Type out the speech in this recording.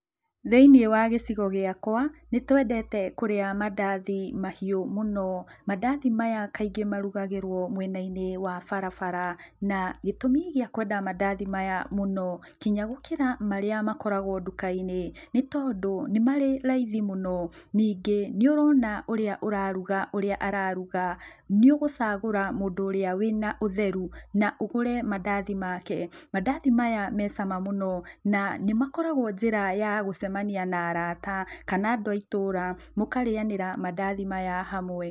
Thĩinĩ wa gĩcigo gĩakwa, nĩtwendete kũrĩa mandathi mahiũ mũno. Mandathi maya kaingĩ marugagĩrwo mwena-inĩ wa barabara, na gĩtũmi gĩa kwenda mandathi maya mũno, nginya gũkĩra marĩa makoragwo nduka-inĩ nĩ tondũ nĩ marĩ raithi mũno. Ningĩ, nĩũrona ũrĩa ũraruga ũrĩa araruga, nĩũgũcagũra mũndũ ũrĩa wĩ na ũtheru na ũgũre mandathi make. Mandathi maya mecama mũno, na nĩmakoragwo njĩra ya gũcemania na arata kana andũ a itũũra, mũkarĩanĩra mandathi maya hamwe.